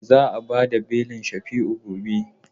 Za a ba da belin Shafi'u gobe.